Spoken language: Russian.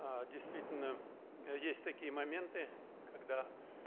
а действительно есть такие моменты когда